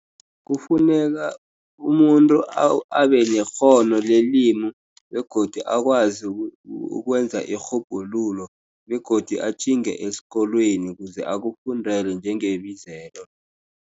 Kufuneka umuntu abenekghono lelimi begodu akwazi ukwenza irhubhululo begodu atjhinge esikolweni kuze akufundele njengebizelo.